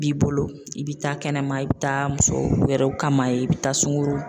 b'i bolo i bɛ taa kɛnɛma i bɛ taa muso wɛrɛw kama yen i bɛ taa sunkuru